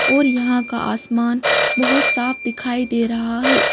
यहाँ और का आसमान बहुत साफ दिखाई दे रहा है।